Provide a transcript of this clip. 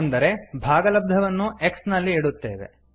ಅಂದರೆ ಭಾಗಲಬ್ಧವನ್ನು x ನಲ್ಲಿ ಇಡುತ್ತೇವೆ